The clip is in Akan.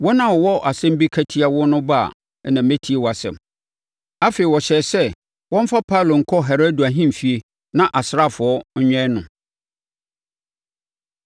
“Wɔn a wɔwɔ asɛm bi ka tia wo no ba a na mɛtie wʼasɛm.” Afei, ɔhyɛɛ sɛ wɔmfa Paulo nkɔ Herode ahemfie na asraafoɔ nwɛn no.